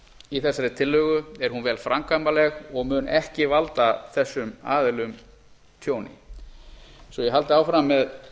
í þessari tillögu er hún vel framkvæmanleg og mun ekki valda þessum aðilum tjóni svo a haldi áfram með